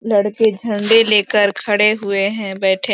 लड़के झंड़े लेकर खड़े हुए हैं बैठे --